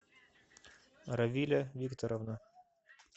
равиля викторовна